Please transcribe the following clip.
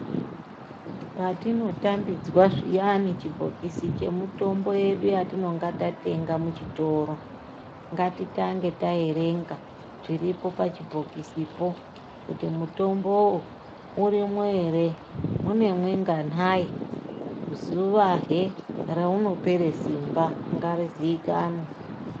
Patinotambidzwa zviyani chibhokisi chemutombo yedu yatinonga tatenga muchitoro ngatitange taerenga zviripo pachibhokisipo kuti mutombowo urimwo ere muneminganayi zuwa he raunopera simba ngarizikanwe.